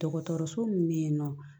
Dɔgɔtɔrɔso min bɛ yen nɔ